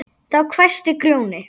Þá hvæsti Grjóni